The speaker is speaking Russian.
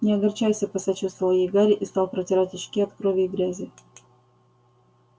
не огорчайся посочувствовал ей гарри и стал протирать очки от крови и грязи